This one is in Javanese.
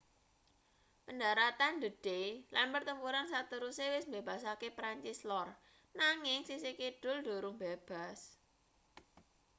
pendharatan d.day lan pertempuran sateruse wis mbebasake perancis lor nanging sisih kidul durung bebas